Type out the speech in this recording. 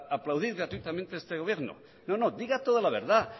aplaudir gratuitamente este gobierno no no diga toda la verdad